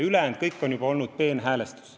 Ülejäänu on juba olnud peenhäälestus.